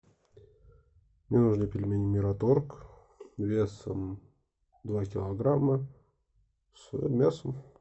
мне нужны пельмени мираторг весом два килограмма с мясом